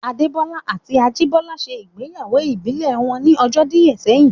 Adé Bọ́lá àti Ajìbọ́lá ṣe ìgbéyàwó ìbílẹ̀ wọn ní ọjọ́ díẹ̀ sẹ́yìn